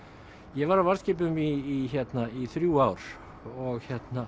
ég var á varðskipum í í þrjú ár og